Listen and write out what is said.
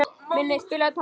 Minney, spilaðu tónlist.